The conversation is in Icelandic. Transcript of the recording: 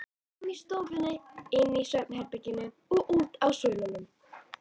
Frammi í stofunni, inni í svefnherberginu og úti á svölunum.